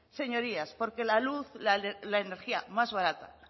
señorías porque la luz la energía más barata